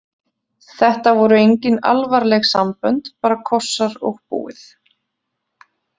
Þetta voru engin alvarleg sambönd, bara kossar og búið.